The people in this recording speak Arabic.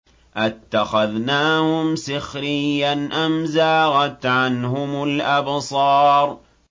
أَتَّخَذْنَاهُمْ سِخْرِيًّا أَمْ زَاغَتْ عَنْهُمُ الْأَبْصَارُ